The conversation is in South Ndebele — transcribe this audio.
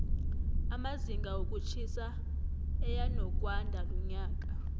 amazinga wokutjhisa eyanokwandalonyaka